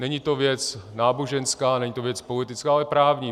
Není to věc náboženská, není to věc politická, ale právní.